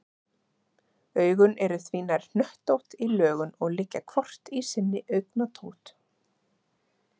Augun eru því nær hnöttótt í lögun og liggja hvort í sinni augnatótt.